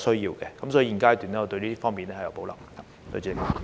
因此，現階段我對這方面有保留。